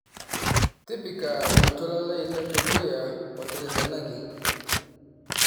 tipika oltuala lai ledukuya oteretenaki